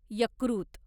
यकृत